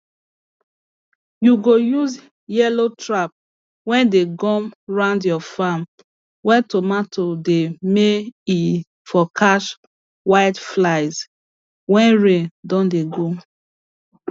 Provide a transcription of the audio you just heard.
you go use yellow trap weyd ey gum round your farm wey tomato dey may e for catch whiteflies wen rain don dey go